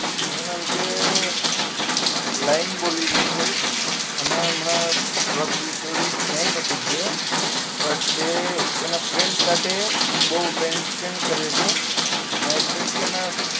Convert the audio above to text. નહીં મેમ તે lieing બોલી રહ્યું છે અમે હમણાં થોડાક દિવસો થી નથી ગયા but તે તેના friend સાથે બહુ time spend કરે છે ને i think કે એના